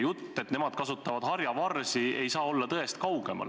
Jutt, et nad kasutavad harjavarsi, ei saa olla tõest kaugemal.